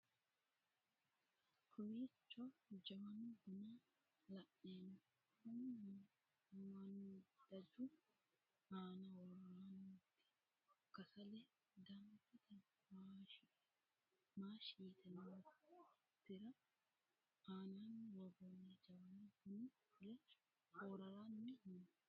Kowwicho Jawanu buna lanemmo Kuni maanidajju anaa wooronitti kassale damibete maashshi yitte nootera ananni worronni jawanni buni fule fooraranmi noo